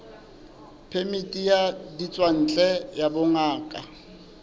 phemiti ya ditswantle ya bongaka